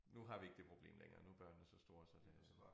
Nu har vi ikke det problem længere nu børnene så store så det